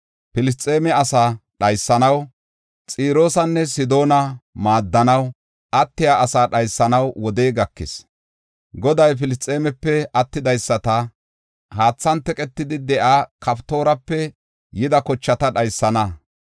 Filisxeeme asa dhaysanaw, Xiroosanne Sidoona maaddanaw attiya asaa dhaysanaw wodey gakis. Goday Filisxeemepe attidaysata, Haathan teqetida de7iya Kaftoorape yida kochata dhaysana.